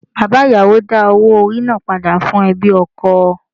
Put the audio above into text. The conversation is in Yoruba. Bàbá ìyàwó dá owó orí náà padà fún ẹbí ọkọ.